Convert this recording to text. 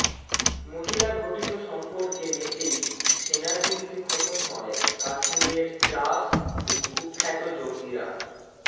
মহিলাঘটিত সম্পর্কে মেতেই সেনার গুলিতে খতম হয় কাশ্মীরের ত্রাস এই কুখ্যাত জঙ্গিরা